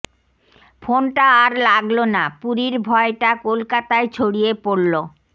ফোনটা আর লাগল না পুরীর ভয়টা কলকাতায় ছড়িয়ে পড়ল